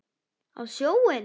Á sjóinn?